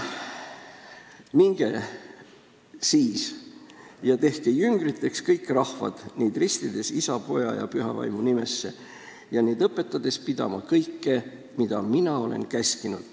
"Minge siis ja tehke jüngriteks kõik rahvad, neid ristides Isa ja Poja ja Püha Vaimu nimesse ja neid õpetades pidama kõike, mida mina teid olen käskinud.